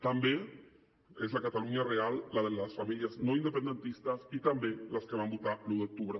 també és la catalunya real la de les famílies no independentistes i també les que van votar l’un d’octubre